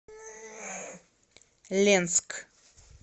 ленск